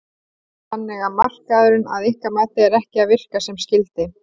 Þannig að markaðurinn að ykkar mati er ekki að virka sem skyldi?